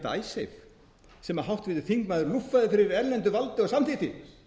það er einmitt icesave sem háttvirtur þingmaður lúffaði fyrir erlendu valdi og samþykkti